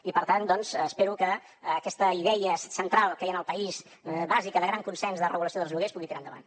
i per tant doncs espero que aquesta idea central que hi ha al país bàsica de gran consens de regulació dels lloguers pugui tirar endavant